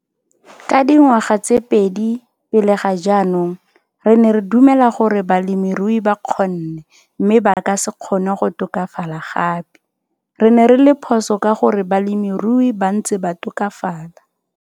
Ka dingwaga tse pedi pele ga jaanong, re ne re dumela gore balemirui ba kgonne mme ba ka se kgone go tokafala gape - re ne re le phoso ka gore balemirui ba ntse ba tokafala!